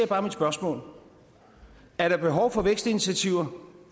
bare mit spørgsmål er der behov for vækstinitiativer